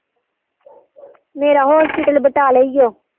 ਮੇਰਾ hospital ਬਟਾਲੇ ਈਓ